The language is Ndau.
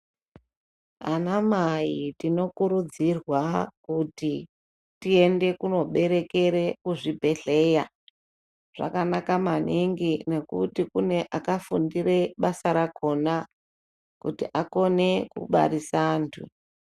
Anamai tinokurudzirwa kuti tiende kooberekera kuchibhedhlera. Zvakanaka maningi ngekuti kune vakafundira basa rakhona kuti akone kubarisa antu.